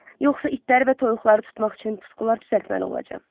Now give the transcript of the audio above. Yoxsa itləri və toyuqları tutmaq üçün puskular düzəltməli olacam?